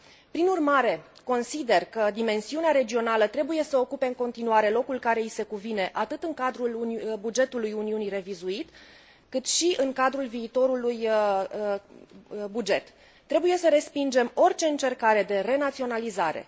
Prin urmare, consider că dimensiunea regională trebuie să ocupe în continuare locul care i se cuvine atât în cadrul bugetului Uniunii revizuit, cât și în cadrul viitorului buget Trebuie să respingem orice încercare de renaționalizare.